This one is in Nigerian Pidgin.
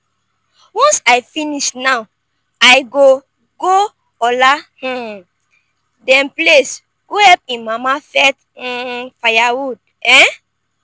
once i finish now i go go ola um dem place go help im mama fetch um firewood um